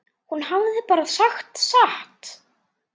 Hún hafði bara sagt satt.